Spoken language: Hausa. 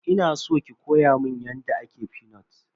Ina san ki koya mun yadda ake fenut.